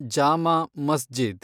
ಜಾಮಾ ಮಸ್ಜಿದ್